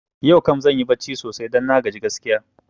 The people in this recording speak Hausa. Yau kam zanyi barci sosai don na gaji gaskiya